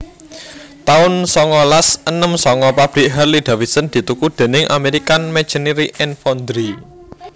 taun songolas enem sanga Pabrik Harley Davidson dituku déning American Machinery and Foundry